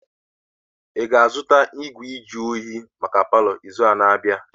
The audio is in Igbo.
Ị ga-azụta ngwa nju oyi maka palọ n'izu na-abịa?